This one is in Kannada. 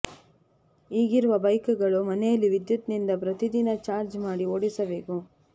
ಈಗಿರುವ ಬೈಕ್ ಗಳು ಮನೆಯಲ್ಲಿ ವಿದ್ಯುತ್ ನಿಂದ ಪ್ರತಿ ದಿನ ಚಾರ್ಜ್ ಮಾಡಿ ಓಡಿಸಬೇಕು